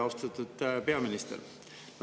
Austatud peaminister!